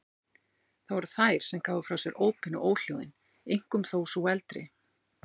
Það voru þær sem gáfu frá sér ópin og óhljóðin, einkum þó sú eldri.